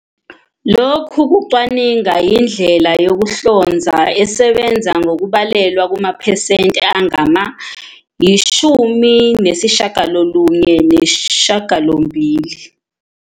Lokhu kucwaninga yindlela yokuhlonza esebenza kahle ngokubalelwa kumaphesenti angama-98."